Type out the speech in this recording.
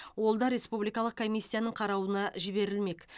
ол да республикалық комиссияның қаралуына жіберілмек